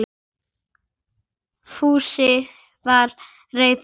Fúsi var reiður.